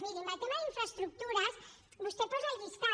miri amb el tema d’infraestructures vostè posa el llistat